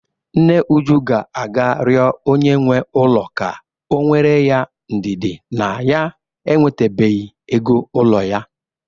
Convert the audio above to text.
Nne Uju ga-aga rịọ onye nwe ụlọ ka o nwere ya ndidi na ya enwetabeghi ego ụlọ ya.